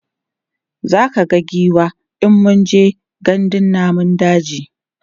zaka ga giwa in mun je gandun namun daji